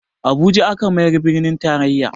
Abuja aka mayar birnin taraiya